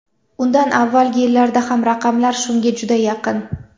Undan avvalgi yillarda ham raqamlar shunga juda yaqin.